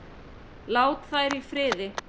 Látið þær í friði.